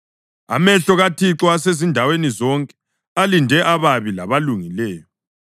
Amehlo kaThixo asezindaweni zonke, alinde ababi labalungileyo.